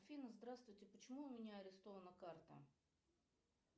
афина здравствуйте почему у меня арестована карта